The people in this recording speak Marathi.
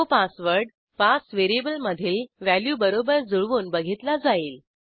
तो पासवर्ड पास व्हेरिएबल मधील व्हॅल्यूबरोबर जुळवून बघितला जाईल